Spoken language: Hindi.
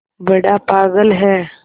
बड़ा पागल है